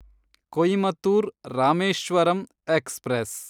Coimbatore Rameswaram express